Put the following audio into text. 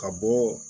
Ka bɔ